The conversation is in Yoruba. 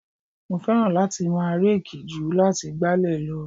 Mo fẹ́ràn láti máa reeki ju láti gbálẹ̀ lọ.